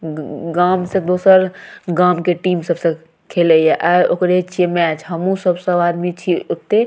उम्म गाम से दोसर गाम के टीम सबसे खेले ये आय ओकरे छीये मैच हम्हू सब सब आदमी छीये ओते।